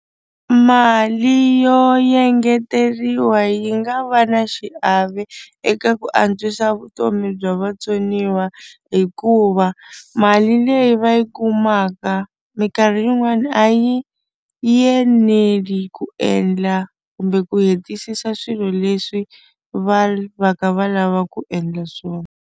Mali yo engeteriwa yi nga va na xiave eka ku antswisa vutomi bya vatsoniwa hikuva mali leyi va yi kumaka mikarhi yin'wani a yi eneli ku endla kumbe ku hetisisa swilo leswi va va kha va lava ku endla swona.